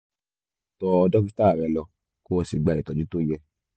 tọ dókítà rẹ lọ kó o sì gba ìtọ́jú tó yẹ